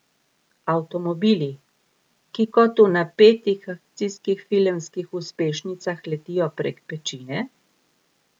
Avtomobili, ki kot v napetih akcijskih filmskih uspešnicah letijo prek pečine?